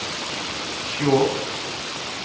Skjåk